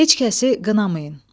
Heç kəsi qınamayın.